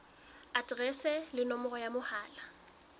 aterese le nomoro ya mohala